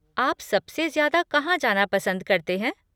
आप सबसे ज़्यादा कहाँ जाना पसंद करते हैं?